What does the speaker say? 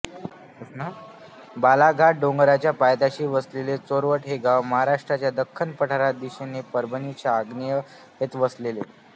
बालाघाट डोंगराच्या पायथ्याशी वसलेले चोरवड हे गाव महाराष्ट्राच्या दख्खन पठारात व दिशेने परभणीच्या आग्नेयेत वसलेले